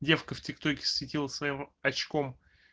девка в тик токе светила своим очком